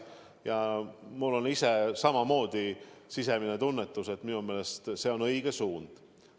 Ja mul on endal samamoodi sisemine tunnetus, et minu meelest see on õige suund.